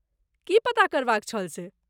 की पता करबाक छल से?